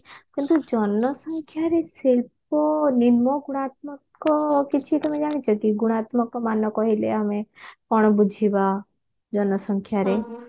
କିନ୍ତୁ ଜନସଂଖ୍ୟାରେ ସର୍ବନିମ୍ନ ଗୁଣାତ୍ମକ କିଛି ତମେ ଜାଣିଛ କି ଗୁଣାତ୍ମକ ମାନ କହିଲେ ଆମେ କଣ ବୁଝିବା ଜନସଂଖ୍ୟାରେ